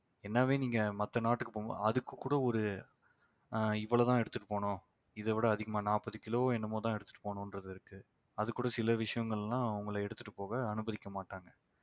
என்னவே நீங்க மத்த நாட்டுக்கு போங்க அதுக்கு கூட ஒரு ஆஹ் இவ்வளவுதான் எடுத்துட்டு போகணும். இதை விட அதிகமா நாப்பது கிலோ என்னமோதான் எடுத்துட்டு போகணும்ன்றது இருக்கு அது கூட சில விஷயங்கள்லாம் உங்களை எடுத்துட்டு போக அனுமதிக்க மாட்டாங்க